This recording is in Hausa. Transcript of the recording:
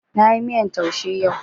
Na yi miyan taushe yau